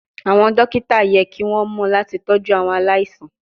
Awọn dokita yẹ ki won mo lati toju awon alaisan